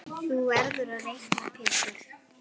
Þú verður að reikna Pétur.